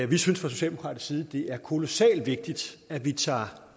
vi synes fra socialdemokratisk side det er kolossalt vigtigt at vi tager